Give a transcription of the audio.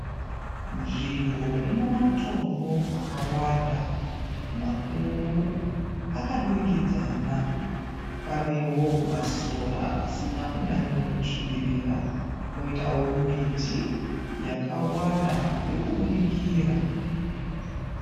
Nzvimbo ina matombo akawanda makuru akadurikidzana. Panewo masora asina kunyanyo svibirira. Poitawo miti yakawanda iri kubudikira.